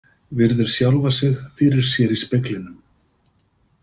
Virðir sjálfa sig fyrir sér í speglinum.